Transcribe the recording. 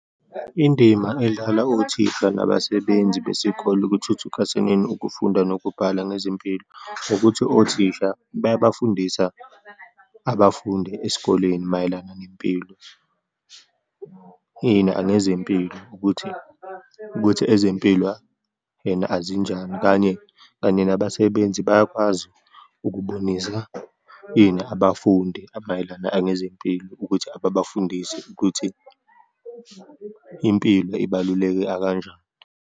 Indima edlalwa othisha nabasebenzi besikolo ekuthuthukaseneni ukufunda nokubhala ngezimpilo, ukuthi othisha bayabafundisa abafundi esikoleni mayelana nempilo, and ngezempilo, ukuthi, ukuthi ezempilo and azinjani. Kanye, kanye nabasebenzi bayakwazi ukubonisa, ini abafundi mayelana anezempilo ukuthi ababafundise, ukuthi impilo ibaluleke akanjani.